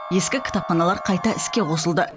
ескі кітапханалар қайта іске қосылды